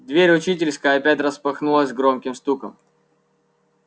дверь учительской опять распахнулась громким стуком